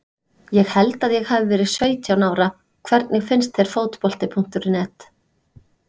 Ég held að ég hafi verið sautján ára Hvernig finnst þér Fótbolti.net?